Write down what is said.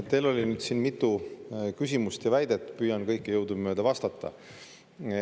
Teil oli siin mitu küsimust ja väidet, püüan kõigile jõudumööda vastata.